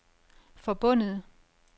forbundet